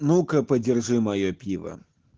ну-ка подержи моё пиво